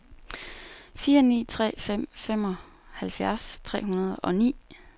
fire ni tre fem femoghalvfjerds tre hundrede og ni